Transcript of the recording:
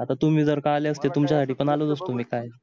आता तुम्ही जर आले असते तुमच्यासाठी पण आलोच असतो मी